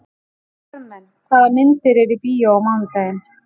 Karmen, hvaða myndir eru í bíó á mánudaginn?